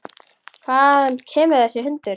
Hvaðan kemur þessi hundur?